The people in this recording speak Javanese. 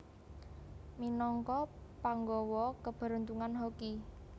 Minagka panggawa keberuntungan Hoki